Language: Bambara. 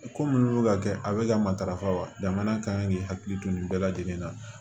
Ko munnu bɛ ka kɛ a bɛ ka matarafa wa jamana kan k'i hakili to nin bɛɛ lajɛlen na